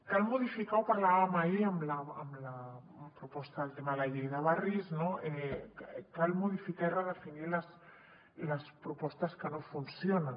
cal modificar ho parlàvem ahir amb la proposta en el tema de la llei de barris no cal modificar i redefinir les propostes que no funcionen